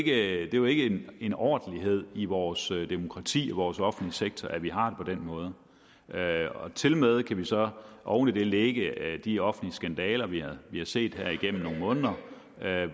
det er jo ikke en ordentlighed i vores demokrati vores offentlige sektor at vi har på den måde tilmed kan vi så oven i det lægge de offentlige skandaler vi har har set her igennem nogle måneder